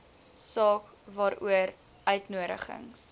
saak waaroor uitnodigings